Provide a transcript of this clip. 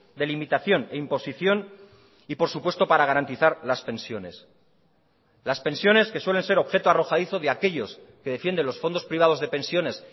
de limitación e imposición y por supuesto para garantizar las pensiones las pensiones que suelen ser objeto arrojadizo de aquellos que defienden los fondos privados de pensiones